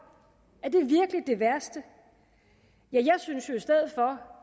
er det værste jeg synes jo